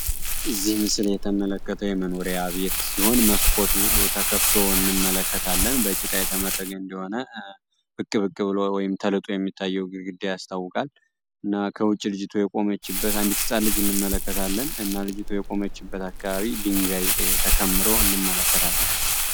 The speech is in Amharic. እዚህ ምስል የተመላከተው የመኖሪያ ቤት ሲሆን መስኮቱ ተከፍቶ እንመለከታለን። በጭቃ የተመረገ እንደሆነ ብቅ ብቅ ብሎ ወይንም ተልጦ የሚታየው ግድግዳ ያስታውቃል እና ከውጪ ልጅቱ የቆመችበት አንዲት ህፃን ልጅ እንመለከታለን እና ልጅቷ የቆመችበት አካባቢ ድንጋይ ተከምሮ እንመለከታለን።